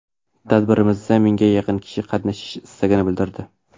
Tadbirimizda mingga yaqin kishi qatnashish istagini bildirdi.